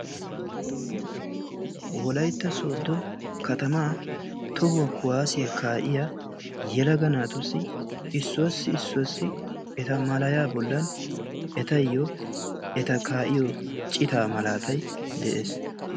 Wolaytta sodo katamaa tohuwa kuwaasiya kaa'iya yelaga naatussi issuwassi issuwaassi eta malaya bollan etayyo eta kaa'iyo citaa malaatay de'es.